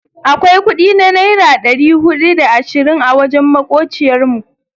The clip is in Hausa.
Akwai kudi na naira dari hudu da da ashirin a wajen makociyar mu.